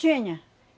Tinha.